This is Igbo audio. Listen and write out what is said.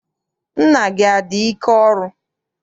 Nna gị adị ike ọrụ?